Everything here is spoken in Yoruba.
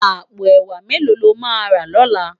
Àpó èwá méló ló má rá lòlá?